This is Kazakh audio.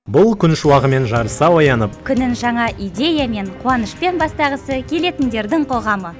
бұл күн шуағымен жарыса оянып күнін жаңа идеямен қуанышпен бастағысы келетіндердің қоғамы